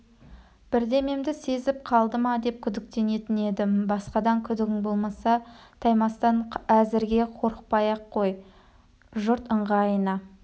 бірдемемді сезіп қалды ма деп күдіктенетін едім басқадан күдігің болмаса таймастан әзірге қорықпай-ақ қой жұрт ыңғайына